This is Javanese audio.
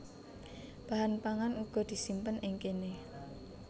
Bahan pangan uga disimpen ing kéné